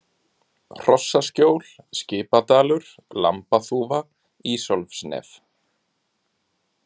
Hrossaskjól, Skipadalur, Lambaþúfa, Ísólfsnef